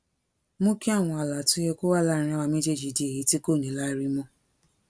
mú kí àwọn ààlà tó yẹ kó wà láàárín àwa méjèèjì di èyí tí kò ní láárí mó